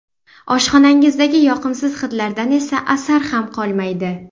Oshxonangizdagi yoqimsiz hidlardan esa asar ham qolmaydi.